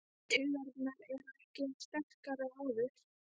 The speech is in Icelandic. Taugarnar eru ekki eins sterkar og áður.